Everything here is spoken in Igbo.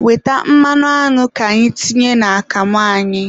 Weta mmanụ añụ ka itinye n'akamụ anyị.